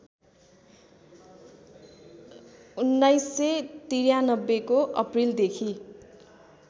१९९३ को अप्रिलदेखि